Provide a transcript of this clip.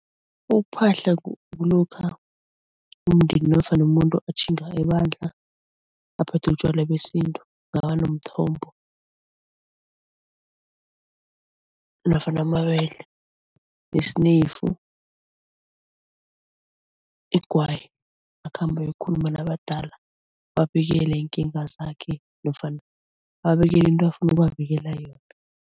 Ukuphahla kulokha umndeni nofana umuntu atjhinga ebandla aphethe utjwala besintu, mthombo nofana amabele, nesneyifu, igwayi, akhambe ayokukhuluma nabadala ababikele iinkinga zakhe nofana ababikele into afuna ukubabikela yona.